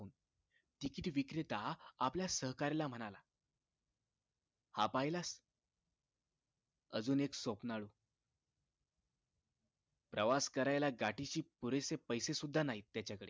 ticket विक्रेता आपल्या सहकार्याला म्हणाला हा पाहिलास अजून एक स्वप्नाळू प्रवास करायला गाठीशी पुरेसे पैसे सुद्धा नाहीत त्याचाकडे